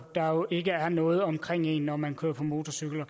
der jo ikke er noget omkring en når man kører på motorcykel